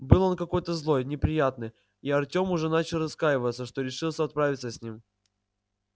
был он какой-то злой неприятный и артем уже начал раскаиваться что решился отправиться с ним